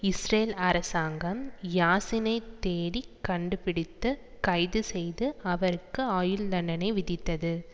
Israel அரசாங்கம் யாசினை தேடிக் கண்டுபிடித்து கைது செய்து அவருக்கு ஆயுள் தண்டனை விதித்தது